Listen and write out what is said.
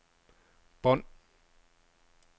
bånd